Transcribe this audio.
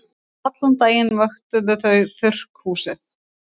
Allan daginn vöktuðu þau þurrkhúsið.